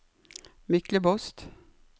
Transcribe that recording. Myklebost